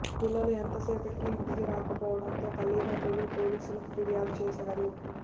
పిల్లలు ఎంతసేపటికి ఇంటికి రాకపోవడంతో తల్లిదండ్రులు పోలీసులకు ఫిర్యాదు చేశారు